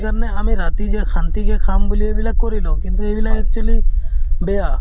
কাৰণে আমি ৰাতি যে শান্তি কে খাব বুলি এইবিলাক কৰি লওঁ। কিন্তু এইবিলাক actually বেয়া।